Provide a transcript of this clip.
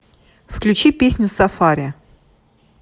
включи песню сафари